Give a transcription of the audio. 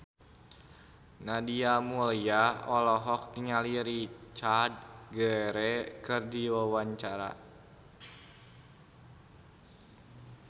Nadia Mulya olohok ningali Richard Gere keur diwawancara